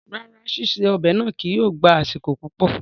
Rárá, ṣiṣe ọ́bẹ̀ náá kìí yóó gba asiko pupọ